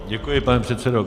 Děkuji, pane předsedo.